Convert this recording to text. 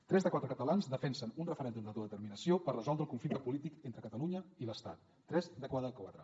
tres de cada quatre catalans defensen un referèndum d’autodeterminació per resoldre el conflicte polític entre catalunya i l’estat tres de cada quatre